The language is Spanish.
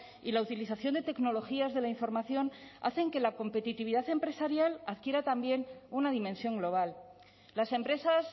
y la utilización de tecnologías de la información hacen que la competitividad empresarial adquiera también una dimensión global las empresas